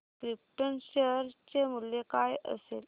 krypton share चे मूल्य काय असेल